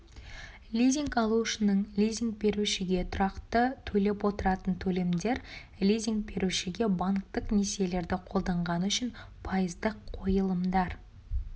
лизинг алушының лизинг берушіге тұрақты төлеп отыратын төлемдер лизинг берушіге банктік несиелерді қолданғаны үшін пайыздық қойылымдар